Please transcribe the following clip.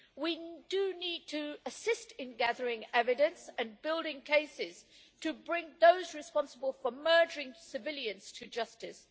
We do need to assist in gathering evidence and building cases to bring those responsible for murdering civilians to justice.